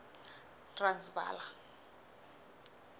transvala